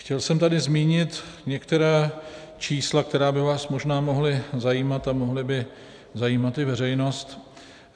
Chtěl jsem tady zmínit některá čísla, která by vás možná mohla zajímat a mohla by zajímat i veřejnost.